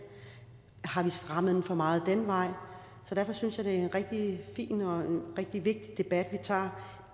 har vi strammet lovgivningen for meget den vej derfor synes jeg det er en rigtig fin og en rigtig vigtig debat vi tager